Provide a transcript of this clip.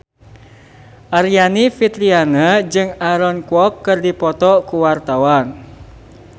Aryani Fitriana jeung Aaron Kwok keur dipoto ku wartawan